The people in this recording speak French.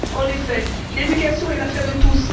En effet, l'éducation est l'affaire de tous.